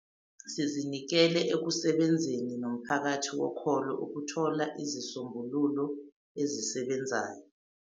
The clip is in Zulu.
.sizinikele ekusebenzeni nomphakathi wokholo ukuthola izisombululo ezisebenzayo.